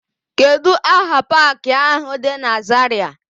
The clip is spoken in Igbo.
Kedụ aha paakị áhụ̀ dị na Zarịa?